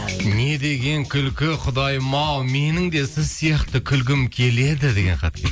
не деген күлкі құдайым ау менің де сіз сияқты күлгім келеді деген хат